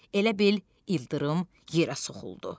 elə bil ildırım yerə soxuldu.